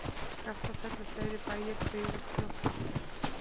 Skaftafell og fleiri bæir byggðust fljótt aftur.